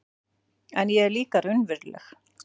En ég er líka raunveruleg